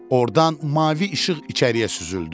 Ordan mavi işıq içəriyə süzüldü.